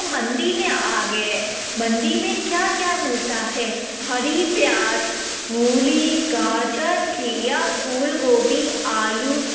मंडी में आ गए मंडी में क्या-क्या मिलता है? हरी प्याज मूली गाजर खिया फूल गोभी आलू --